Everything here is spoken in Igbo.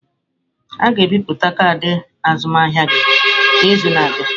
A ga-ebipụta kaadị azụmahịa gị n'izu na-abịa.